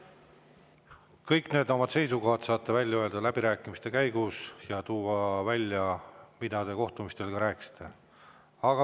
Kõik oma seisukohad saate välja öelda läbirääkimiste käigus ja ka tuua välja, mida te kohtumistel rääkisite.